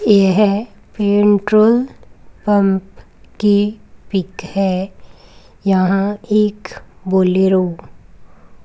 यह petrol pump की pic है यहां एक बोलेरो --